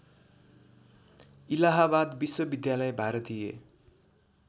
इलाहाबाद विश्वविद्यालय भारतीय